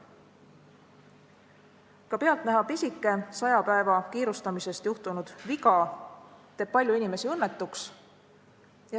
Ka pealtnäha pisike saja päeva kiirustamisest juhtunud viga teeb palju inimesi õnnetuks.